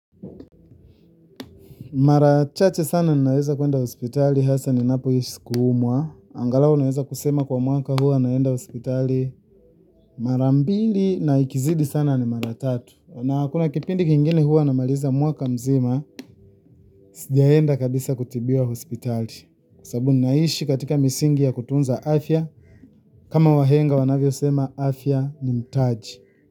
Mara chache sana naweza kwenda hospitali hasa ni napo hisi kuumwa. Angalao naweza kusema kwa mwaka huwa naenda hospitali mara mbili na ikizidi sana ni mara tatu. Na kuna kipindi kingine huwa na maliza mwaka mzima sijaenda kabisa kutibiwa hospitali. Sabu naishi katika misingi ya kutunza afya. Kama wahenga wanavyosema afya ni mtaji.